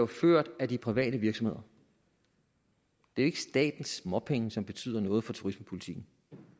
ført af de private virksomheder det er ikke statens småpenge som betyder noget for turismepolitikken